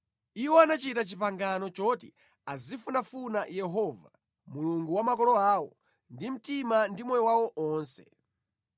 Iwo anachita pangano loti azifunafuna Yehova, Mulungu wa makolo awo, ndi mtima ndi moyo wawo wonse.